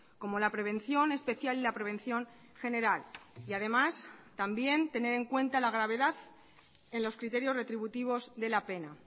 como la prevención especial y la prevención general y además también tener en cuenta la gravedad en los criterios retributivos de la pena